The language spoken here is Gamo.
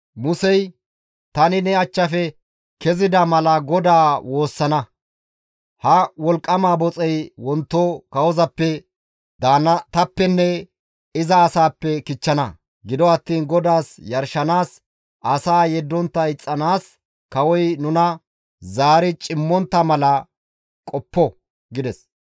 Musey, «Tani ne achchafe kezida mala GODAA woossana; ha wolqqama boxey wonto kawozappe, daannatappenne iza asaappe kichchana. Gido attiin GODAAS yarshanaas asaa yeddontta ixxanaas kawoy nuna zaari cimmontta mala qoppo» gides.